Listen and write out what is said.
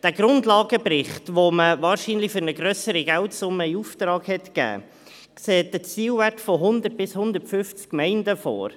Der Grundlagenbericht, den man wahrscheinlich für einen grösseren Geldbetrag in Auftrag gegeben hat, sieht einen Zielwert von 100 bis 150 Gemeinden vor.